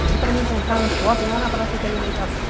Pedi para ele encontrar no shopping lá na praça de alimentação.